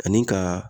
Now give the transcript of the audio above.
Ani ka